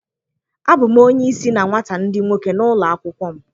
Abụ m onye isi na nwata ndị nwoke n' ụlọ akwụkwọ m